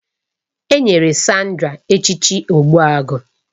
A